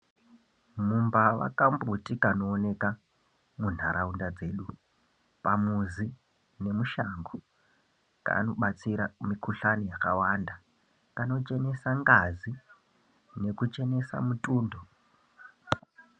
Mumbava kambuti kanooneka munharaunda dzedu pamuzi nemushango kunobatsira mikuhlani yakawanda kanochenesa ngazi, nekuchenesa mutundo.